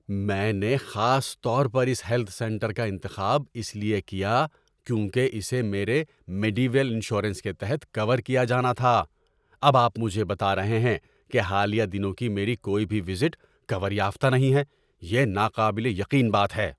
میں نے خاص طور پر اس ہیلتھ سینٹر کا انتخاب اس لیے کیا کیونکہ اسے میرے میڈی ویل انشورنس کے تحت کور کیا جانا تھا۔ اب آپ مجھے بتا رہے ہیں کہ حالیہ دنوں کی میری کوئی بھی وزٹ کور یافتہ نہیں ہے۔ یہ ناقابل یقین بات ہے!